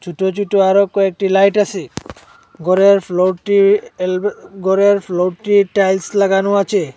ছোট ছোট আরো কয়েকটি লাইট আছে ঘরের ফ্লোরটি এলবে ঘরের ফ্লোরটি টাইলস লাগানো আছে।